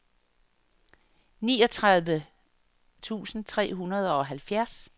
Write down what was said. niogtredive tusind tre hundrede og halvfjerds